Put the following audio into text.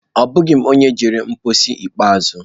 Abụghị m onye jere mposi ikpeazụ.